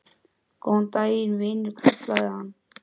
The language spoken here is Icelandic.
Góðan daginn, vinur kallaði hann.